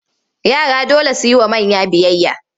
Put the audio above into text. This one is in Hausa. Yara dole su yi wa manya biyayya.